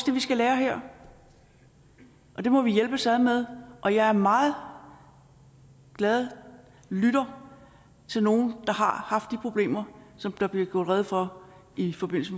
vi skal lære her og det må vi hjælpes ad med og jeg er en meget glad lytter til nogle der har haft de problemer som der blev gjort rede for i forbindelse